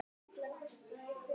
Dag nokkurn kom hann ekki.